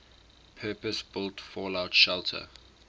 purpose built fallout shelter